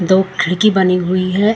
दो खिड़की बनी हुई है।